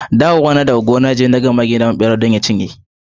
Dawowana daga gona jiya da, na ga mage yana bin bera don ya cinyer.